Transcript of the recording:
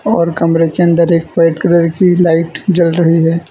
और कमरे के अंदर एक व्हाइट कलर की लाइट जल रही है।